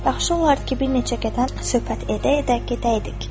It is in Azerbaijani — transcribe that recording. Yaxşı olardı ki, bir neçə qədəm söhbət edə-edə gedəydik.